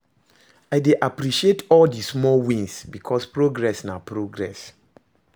I dey appreciate all di small wins, bikos progress na progress